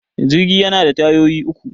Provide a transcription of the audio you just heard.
Jirgi yana da tayoyi uku